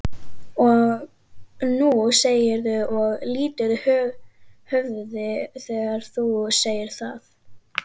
Og nú segirðu og lýtur höfði þegar þú segir það.